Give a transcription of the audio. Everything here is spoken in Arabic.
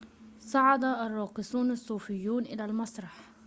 صعد الراقصون الصوفيون إلى المسرح